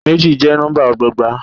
Méjì jẹ́ nọ́ḿbà ọgbọọgba.